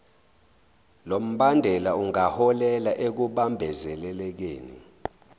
lombandela ungaholela ekubambezelekeni